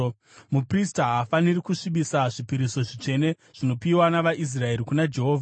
Vaprista havafaniri kusvibisa zvipiriso zvitsvene zvinopiwa navaIsraeri kuna Jehovha,